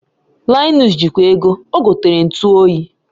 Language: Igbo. Linus ji kwa ego, ogotere ntu oyi